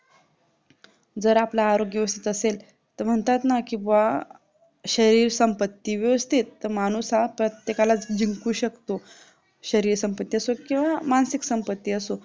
जर आपलं आरोग्य व्यवस्तीत असेल तर म्हणतात ना कि शरीर संपत्ती व्यवस्तीत तर माणूस हा प्रत्येकाला जिंकू शकतो शरीर संपत्ती असो किंवा मानसिक संपत्ती असो